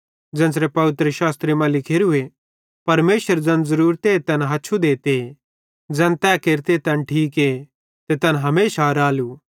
ज़ेन्च़रे पवित्रशास्त्रे मां लिखोरूए परमेशर ज़ैन ज़रूरते तैन हच्छु देते ज़ैन तै केरते तैन ठीके ते तैन हमेशा रालू